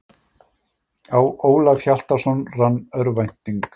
Á Ólaf Hjaltason rann örvænting.